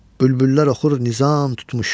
Bülbüllər oxur nizam tutmuş.